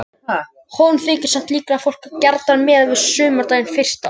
honum þykir samt líklegt að fólk hafi gjarnan miðað við sumardaginn fyrsta